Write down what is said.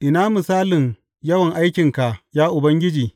Ina misalin yawan aikinka, ya Ubangiji!